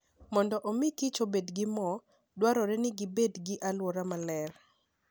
Mondo omi kich obed gi mor, dwarore ni gibed gi alwora maler.